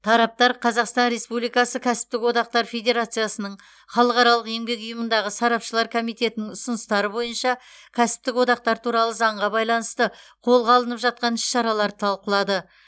тараптар қазақстан республикасы кәсіптік одақтар федерациясының халықаралық еңбек ұйымындағы сарапшылар комитетінің ұсыныстары бойынша кәсіптік одақтар туралы заңға байланысты қолға алып жатқан іс шараларды талқылады